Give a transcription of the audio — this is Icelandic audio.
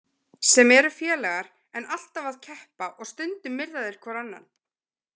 Sem eru félagar en alltaf að keppa og stundum myrða þeir hvor annan.